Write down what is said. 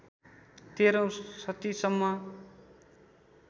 १३औं शतीसम्म